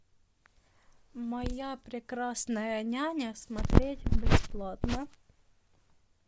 моя прекрасная няня смотреть бесплатно